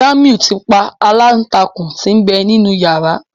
Jamiu tí pa Aláǹtakùn tí n'be nínú yàrá.